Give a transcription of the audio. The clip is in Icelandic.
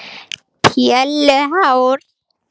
Hildimundur, hvað er opið lengi í Blómabúð Akureyrar?